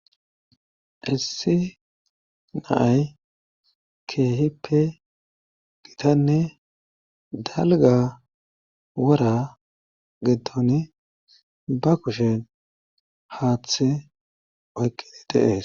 issi naay keehipe gitanne dalga wora geddon ba kushen haaththe oykkidi de'ees